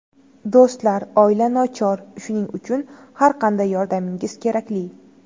Do‘stlar, oila nochor, shuning uchun har qanday yordamingiz kerakli.